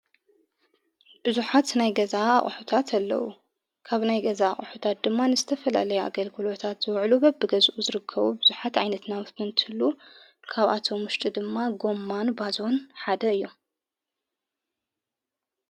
ብዙኃት ናይ ገዛ ኣቑሑታት ኣለዉ ካብ ናይ ገዛ ኣሑታት ድማ ንስተፈላለይ ኣገልክልታት ዝውዕሉ በብገዝኡ ዝርከቡ ብዙኃት ዓይነት ናብፍቲ እንትሉ ካብኣቶ ሙሽጢ ድማ ጎማን ባዞን ሓደ እዮም።